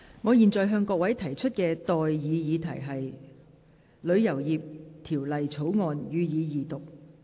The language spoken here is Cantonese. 我現在向各位提出的待議議題是：《旅遊業條例草案》，予以二讀。